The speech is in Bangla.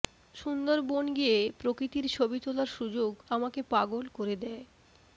সুন্দরবন গিয়ে প্রকৃতির ছবি তোলার সুযোগ আমাকে পাগল করে দেয়